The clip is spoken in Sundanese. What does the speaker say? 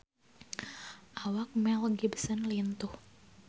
Awak Mel Gibson lintuh